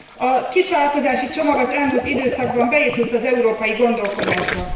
A kisvállalkozási csomag az elmúlt időszakban beépült az európai gondolkodásba.